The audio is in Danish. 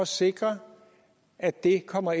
sikre at det kommer